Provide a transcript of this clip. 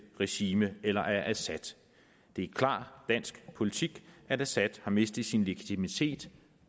regime eller af assad det er klar dansk politik at assad har mistet sin legitimitet